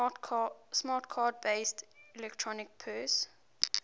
smart card based electronic purse